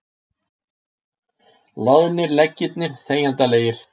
Loðnir leggirnir þegjandalegir.